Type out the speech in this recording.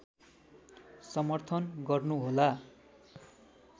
समर्थन गर्नुहोला